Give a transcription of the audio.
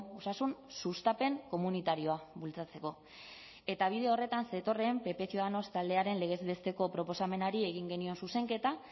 osasun sustapen komunitarioa bultzatzeko eta bide horretan zetorren pp ciudadanos taldearen legez besteko proposamenari egin genion zuzenketa